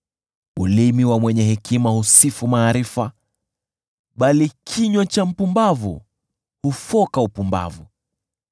Ulimi wa mwenye hekima husifu maarifa, bali kinywa cha mpumbavu hufoka upumbavu.